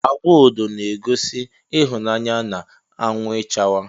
Agwa odo na egosi ihụnaya na anwụ ichawa.